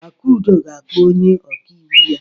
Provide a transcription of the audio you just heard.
Akudo ga-akpọ onye ọkaiwu ya.